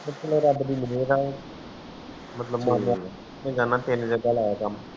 ਕੁਛ ਨੀ ਰਬ ਦੀ ਮੇਹਰ ਮਤਲਵ